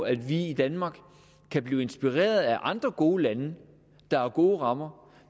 at vi i danmark kan blive inspireret af andre gode lande der har gode rammer